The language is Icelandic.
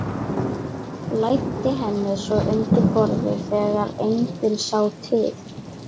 Læddi henni svo undir borðið þegar enginn sá til.